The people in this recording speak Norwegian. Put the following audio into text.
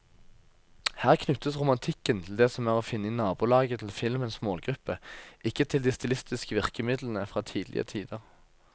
Her knyttes romantikken til det som er å finne i nabolaget til filmens målgruppe, ikke til de stilistiske virkemidlene fra tidligere tider.